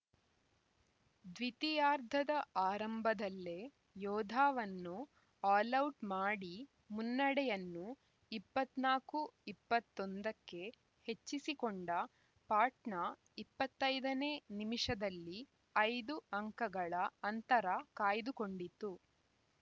ದ್ವಿತೀಯಾರ್ಧದ ಆರಂಭದಲ್ಲೇ ಯೋಧಾವನ್ನು ಆಲೌಟ್‌ ಮಾಡಿ ಮುನ್ನಡೆಯನ್ನು ಇಪ್ಪತ್ತ ನಾಕು ಇಪ್ಪತ್ತ್ ಒಂದಕ್ಕೆ ಹೆಚ್ಚಿಸಿಕೊಂಡ ಪಾಟ್ನಾ ಇಪ್ಪತ್ತೈದನೇ ನಿಮಿಷದಲ್ಲಿ ಐದು ಅಂಕಗಳ ಅಂತರ ಕಾಯ್ದುಕೊಂಡಿತು